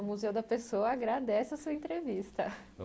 O Museu da Pessoa agrade a sua entrevista.